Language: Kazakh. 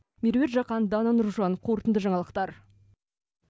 меруерт жақан дана нұржан қорытынды жаңалықтар